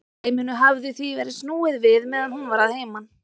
Dæminu hafði því verið snúið við meðan hún var að heiman.